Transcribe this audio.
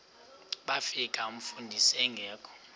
bafika umfundisi engekho